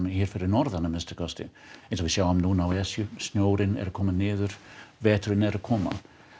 hér fyrir norðan að minnsta kosti eins og við sjáum núna á Esju snjórinn er að koma niður veturinn er að koma